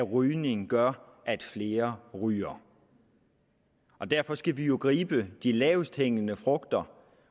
rygning gør at flere ryger og derfor skal vi jo gribe de lavest hængende frugter